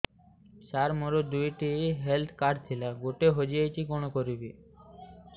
ସାର ମୋର ଦୁଇ ଟି ହେଲ୍ଥ କାର୍ଡ ଥିଲା ଗୋଟେ ହଜିଯାଇଛି କଣ କରିବି